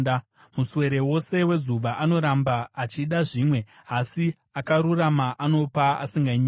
Muswere wose wezuva anoramba achida zvimwe, asi akarurama anopa asinganyimi.